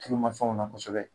Tulumafɛnw na kosɛbɛ